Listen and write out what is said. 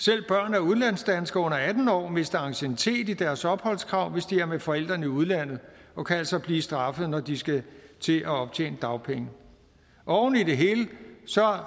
af udlandsdanskere under atten år mister anciennitet i deres opholdskrav hvis de er med forældrene i udlandet og kan altså blive straffet når de skal til at optjene dagpenge oven i det hele